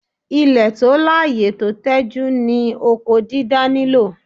Ilẹ̀ tó láyè tó tẹjú ni oko dídá nílò.